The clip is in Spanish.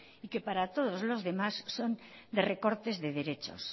y que para todos los demás son de recortes de derechos